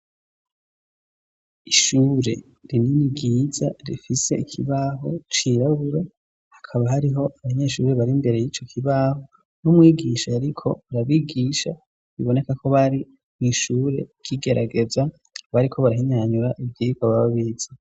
Ishure rinini ryiza rifise ikibaho cirabura hakaba hariho abanyeshuri bari mbere y'ico kibaho n'umwigisha ariko barabigisha, biboneka ko bari mw'ishure ry'igerageza bariko barahinyanyura ivyiyiko bababize.